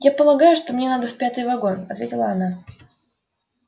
я полагаю что мне надо в пятый вагон ответила она